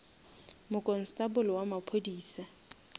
mokonstable wa maphodisa